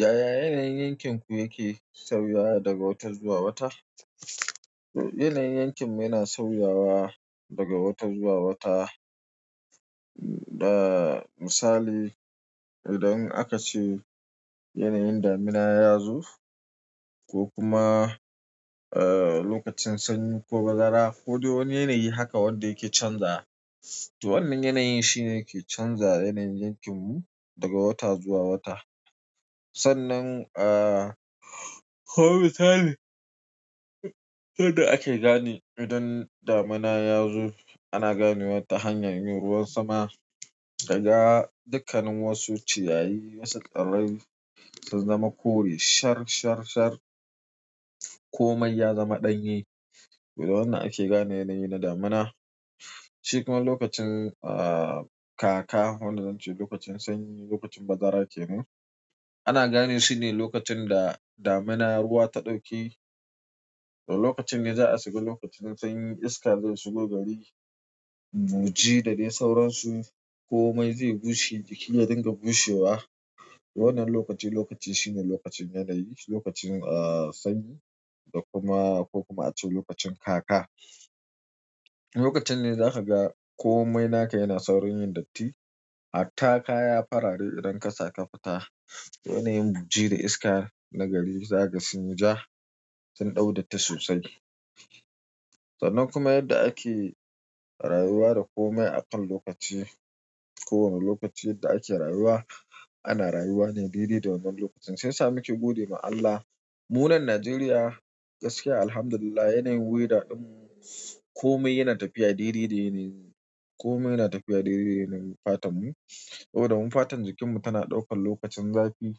Yaya yanayin yankinku yake sauyawa daga wata zuwa wata? Yanayin yankin mu yana sauyawa daga wata zuwa wata. Da misali, idan aka ce yanayin damina ya zo ko kuma, eh, lokacin sanyi ko bazara kodai wani yanayi haka wanda yake canzawa. To wannan yanayin shine yake canzawa yanayin yankin mu daga wata zuwa wata. Sannan, ah, ko misali, yadda ake gane idan damina yazo ana ganewa nlta hanyar yin ruwan sama kaga dukkanin wasu ciyayi wasu ƙarami sun zama kore sar sar sar komai ya zama ɗanye wannan ake gane yanayi na damina. Shi kuma lokacin, ah, kaka wanda zan ce lokacin sanyi, lokacin bazara kenan. Ana gane shi ne lokacin da damuna ruwa ta ɗauke. To lokacin ne za a shiga lokacin sanyi, iska zai shigo gari, buji da dai sauransu. Komai zai bushe, jiki ya dinga bushewa. Wannan lokaci lokaci shine lokacin yanayi, lokacin, ah, sanyi da kuma ko kuma a ce lokacin kaka. Lokacin ne za ka ga komai naka yana saurin yin datti. Hatta kaya farare idan ka sa ka fita, yanayin buji da iska na gari za ka ga sunyi ja, sun ɗaudatti sosai. Sannan kuma yadda ake rayuwa da komai akan lokaci. Ko wane lokaci da ake rayuwa, ana rayuwa ne daidai da wannan lokacin. Shi yasa muke gode ma Allah. Munan Najeriya gaskiya Alhamdulillah yanayi weather ɗin komai yana tafiya daidai da yanayi, komai yana tafiya daidai da yanayi fatan mu. Saboda mu fatan jikin mu tana ɗaukan lokacin zafi,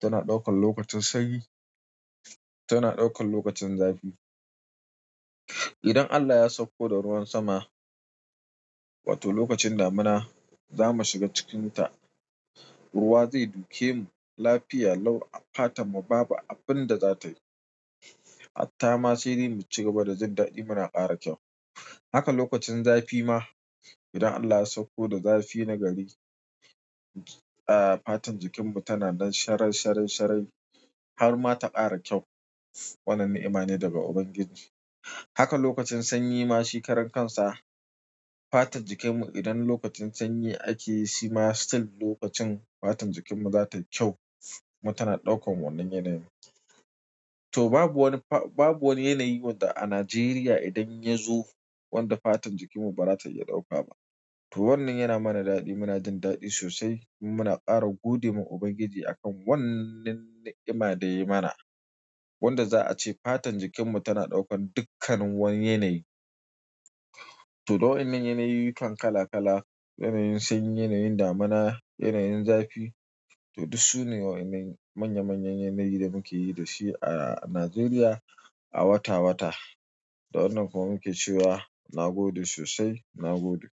tana ɗaukan lokacin sanyi, tana ɗaukan lokacin zafi. Idan Allah ya sauko da ruwan sama, wato lokacin damuna, za mu shiga cikinta. Ruwa zai duke mu. Lafiya, lau a fatan mu babu abin da za tayi. Hatta ma sai dai mucigaba da jin daɗi muna ƙara kyau haka lokacin zafi ma idan Allah ya sauko da zafi na gari, ah, fatan jikin mu tana nan sharai sharai sharai har ma ta ƙara kyau. Wannan ni'ima ne daga Ubangiji. Haka lokacin sanyi ma shi ƙaran kansa. Fatan jikin mu idan lokacin sanyi ake yi shi ma still lokacin fatan jikin mu za ta yi kyau. Kumantana ɗaukan wannan yanayin. To babu wani fa, babu wani yanayi wanda a Najeriya idan ya zo wanda fatan jikin mu bara za ta iya ɗauka ba. To wannan yana mana daɗi, muna jin daɗi sosai. Muna ƙara gode ma Ubangiji akan wannan ni'ima da ya yi mana. Wanda za a ce fatan jikin mu tana ɗaukan dukkanin wani yanayi. To da waennan yanayuykan kala kala, yanayin sanyi, yanayin damuna, yanayin zafi. To dus su ne wa wannan manya manyan yanayi da muke yi da shi a Najeriya a wata wata. Da wannan kuma muke cewa na gode sosai, na gode.